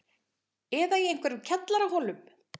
Eða í einhverjum kjallaraholum?